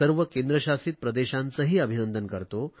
सर्व केंद्रशासित प्रदेशांचेही अभिनंदन करतो